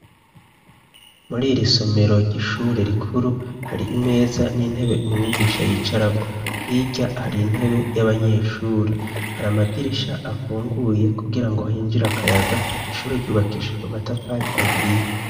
Muriri somero ry'ishuri rikuru ,hari imeza n'intebe umwigisha yicarako hirya hari intebe y'abanyeshuri ,har'amadirisha afunguye kugira ngo hinjir'akayaga, ishure ryubakishijwe matafar' ahiye.